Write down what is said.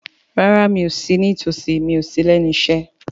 Rárá, mi ò sí ní tòsí, mi ò sí lẹ́nu iṣẹ́